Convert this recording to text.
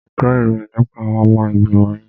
Mo gbo ìròyìn nípa àwọn ọmọ ìgbìmọ̀ yín.